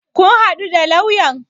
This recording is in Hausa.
Kun haɗu da lauyan?